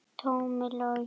Tómas Logi.